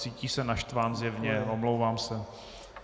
Cítí se naštván zjevně, omlouvám se.